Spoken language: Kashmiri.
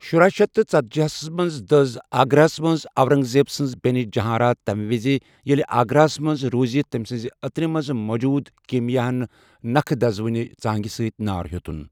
شُراہ شیتھ تہٕ ژتجی ہَس منٛز دٔز آگراہَس منٛز اورنگ زیب سٕنز بٮ۪نہِ جہاں آرا تَمہِ وزِ ییٚلہِ آگراہَس منٛز روٗزِتھ تٔمۍ سٕنزِ عطرِ منز موُجوُد كیمِیاہن نكھیہ دزوٕنہِ ژانگہِ سٕتۍ نار ہِیوتُن ۔